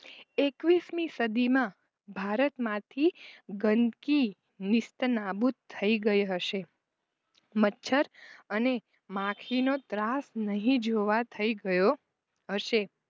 એકવીશમી સદીના ભારત માંથી ગંદકી નિસ્ત નાબૂદ થઈ ગઈ હશે મચ્છર અને માખીનો ત્રાસ નહિ જોવા થઈ ગયો હશે